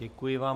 Děkuji vám.